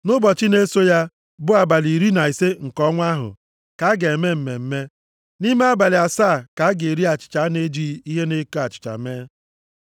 Nʼụbọchị na-eso ya, bụ abalị iri na ise nke ọnwa ahụ ka a ga-eme mmemme. Nʼime abalị asaa ka a ga-eri achịcha a na-ejighị ihe na-eko achịcha mee.